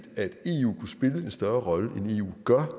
at eu kunne spille en større rolle end eu gør